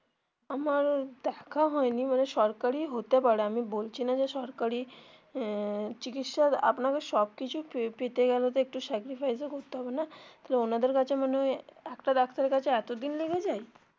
আমার দেখা হয় নি মানে সরকারি হতে পারে আমি বলছি না যে সরকারি আহ চিকিৎসা আপনাদের সব কিছু পেতে গেলে তো একটু sacrifise ও করতে হবে না তো ওনাদের কাছে মানে একটা ডাক্তারের কাছে এতো দিন লেগে যায়.